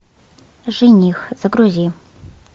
жених загрузи